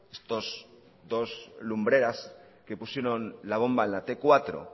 estos dos lumbreras que pusieron la bomba en la te cuatro